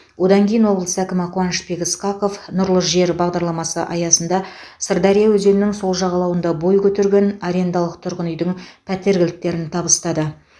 одан кейін облыс әкімі қуанышбек ысқақов нұрлы жер бағдарламасы аясында сырдария өзенінің сол жағалауында бой көтерген арендалық тұрғын үйдің пәтер кілттерін табыстады